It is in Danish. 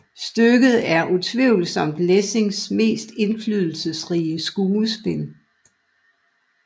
Stykket er utvivlsomt Lessings mest indflydelsesrige skuespil